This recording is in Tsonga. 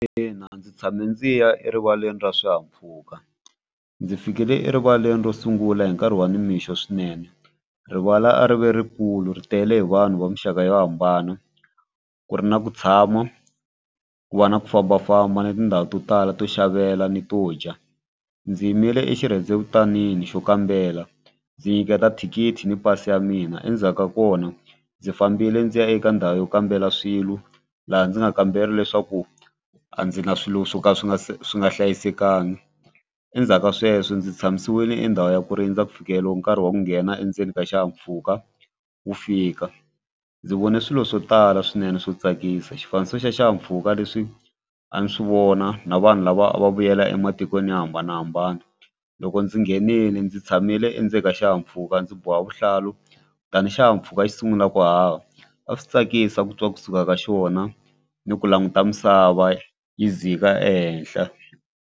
Ina ndzi tshame ndzi ya erivaleni ra swihahampfhuka ndzi fikile erivaleni ro sungula hi nkarhi wa nimixo swinene rivala a ri ve rikulu ri tele hi vanhu va muxaka yo hambana ku ri na ku tshama ku va na ku fambafamba ni tindhawu to tala to xavela ni to dya. Ndzi yimile exirhendevutanini xo kambela ndzi nyiketa thikithi ni pasi ya mina endzhaku ka kona ndzi fambile ndzi ya eka ndhawu yo kambela swilo laha ndzi nga kambeli leswaku a ndzi na swilo swo ka swi nga se swi nga hlayisekanga endzhaku ka sweswo ndzi tshamisile i ndhawu ya ku rindza ku fikeleriwa nkarhi wa ku nghena endzeni ka xihahampfhuka wu fika. Ndzi vone swilo swo tala swinene swo tsakisa xifaniso xa xihahampfhuka leswi a ni swi vona na vanhu lava va vuyela ematikweni yo hambanahambana loko ndzi nghenile ndzi tshamile endzeni ka xihahampfhuka ndzi boha vuhlalu kutani xihahampfhuka xi sungula ku haha a swi tsakisa ku twa kusuka ka xona ni ku languta misava yi dzika ehenhla.